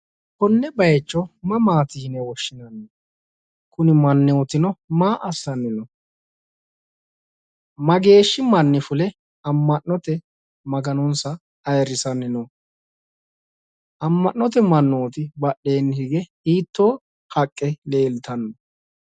Konne bayicho mamaati yine woshshinayi kuni mannootino maa assanni no mageeshshi manni fule amma'note maganosa ayirsanni no amma'note mannooti badheenni hige hiittoo haqqe lreltannino.